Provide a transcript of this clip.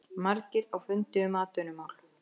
Margir á fundi um atvinnumál